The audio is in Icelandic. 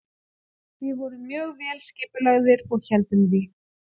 Við vorum mjög vel skipulagðir og héldum því.